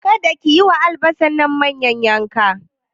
Kada ki yi wa albasar manyan yanka!